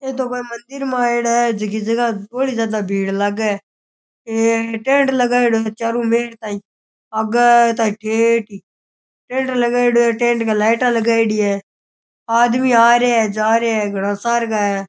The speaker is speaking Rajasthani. ए तो कोई मंदिर मै आएडा है जीकी जगह बोली ज्यादा भीड़ लागे ए टेंट लगाएडो है चारूं मेर ताईं आगे ताईं ठेठ ही टेंट लगाएडो है टेंट गै लाईटां लगाएडी है आदमी आ रया है जा रया है घना सार गा है।